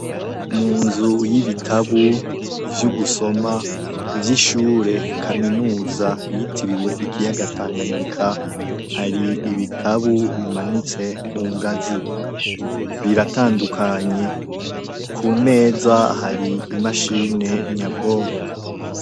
Mu nzu y'ibitabu vy'ugusoma vy'ishure kaminuza yitiriwe ikiyaga Tanganyika hari ibitabu bimanitse ku ngazi, biratandukanye ku meza hari imashine nyabwonko.